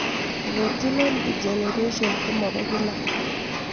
Retinal degeneration ko mopo kila